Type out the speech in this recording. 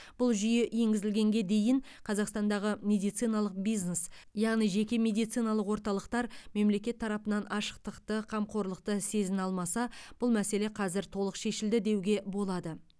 бұл жүйе енгізілгенге дейін қазақстандағы медициналық бизнес яғни жеке медициналық орталықтар мемлекет тарапынан ашықтықты қамқорлықты сезіне алмаса бұл мәселе қазір толық шешілді деуге болады